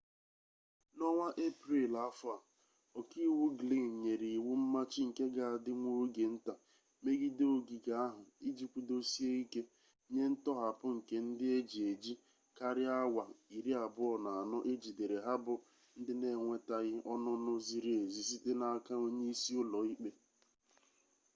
na onwa eprel afo a,oka-iwu glynn nyere iwu mmachi nke ga adi nwa oge-nta megide ogige ahu iji kwudosie-ike nye ntohapu nke ndi eji-eji karia awa 24 ejidere ha bu ndi n’enwetaghi onunu ziri-ezi site n’aka onye-isi ulo-ikpe